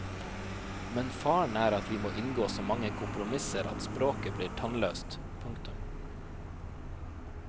Men faren er at vi må inngå så mange kompromisser at språket blir tannløst. punktum